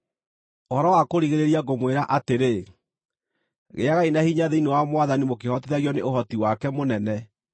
Ũhoro wa kũrigĩrĩria ngũmwĩra atĩrĩ, gĩagai na hinya thĩinĩ wa Mwathani mũkĩhotithagio nĩ ũhoti wake mũnene.